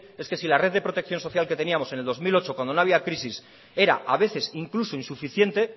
es que si la red de protección social que teníamos en el dos mil ocho cuando no había crisis era a veces incluso insuficiente